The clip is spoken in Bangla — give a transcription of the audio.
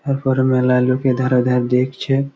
তারপরে মেলায় লোকে ধারে ধারে দেখছে।